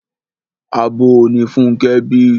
Abo ni Fúnkẹ́ bí.